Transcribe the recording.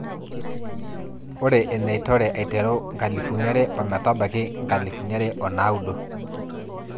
ore einore aiteru 2000 o metabaiki 2009